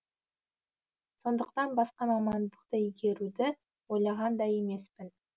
сондықтан басқа мамандықты игеруді ойлаған да емеспін